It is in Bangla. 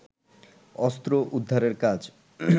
অস্ত্র উদ্ধারের কাজ